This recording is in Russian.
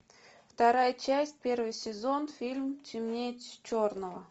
вторая часть первый сезон фильм темнее черного